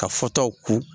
Ka fɔtaw ko